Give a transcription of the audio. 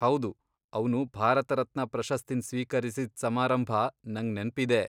ಹೌದು, ಅವ್ನು ಭಾರತರತ್ನ ಪ್ರಶಸ್ತಿನ್ ಸ್ವೀಕರ್ಸಿದ್ ಸಮಾರಂಭ ನಂಗ್ ನೆನ್ಪಿದೆ.